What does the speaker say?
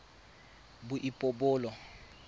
boipobolo